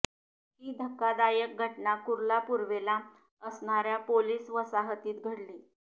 ही धक्कादायक घटना कुर्ला पूर्वेला असणाऱ्या पोलीस वसाहतीत घडली